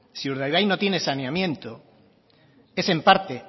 si urdaibai no tiene saneamiento es en parte